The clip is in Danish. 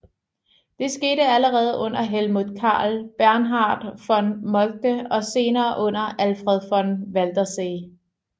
Det skete allerede under Helmuth Karl Bernhard von Moltke og senere under Alfred von Waldersee